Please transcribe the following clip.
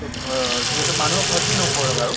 ত বা যিহেতু মানুহৰ ক্ষ্তি নকৰে কাৰো